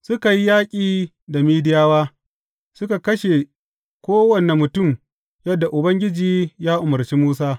Suka yi yaƙi da Midiyawa, suka kashe kowane mutum yadda Ubangiji ya umarci Musa.